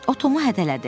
O Tomu hədələdi.